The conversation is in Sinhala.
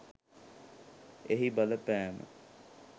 එහි බලපෑම